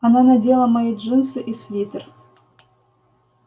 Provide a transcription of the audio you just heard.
она надела мои джинсы и свитер